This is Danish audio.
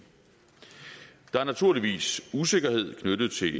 der er naturligvis usikkerhed knyttet til